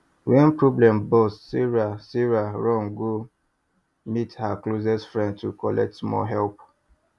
when problem burst sarah sarah run go meet her closest friend to collect small help